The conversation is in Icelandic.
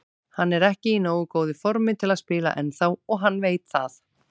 Hann er ekki í nógu góðu formi til að spila ennþá og hann veit það.